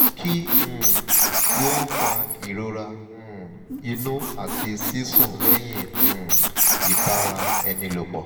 kí um ló ń fa ìrora um inú àti sísun lẹ́yìn um ìbara eni lopo?